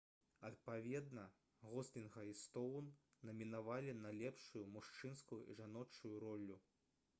адпаведна гослінга і стоўн намінавалі на лепшую мужчынскую і жаночую ролю